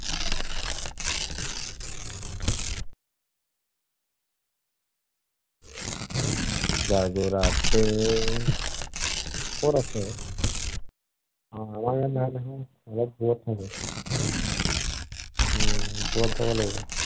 কত আছে? আমাৰ ইয়াত নাই নহয়, অলপ দুৰত থাকে। উম ওপৰত যাব লাগিব।